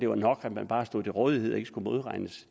var nok at man bare stod til rådighed og ikke skulle modregnes